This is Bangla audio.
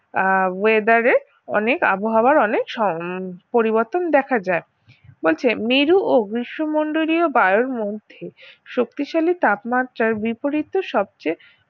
আহ weather এর অনেক আবহাওয়ার অনেক হম পরিবর্তন দেখা যায় বলছে মেরু ও বিশ্বমন্ডলীয় বায়ুর মধ্যে শক্তিশালী তাপমাত্রার বিপরীতে সবচেয়ে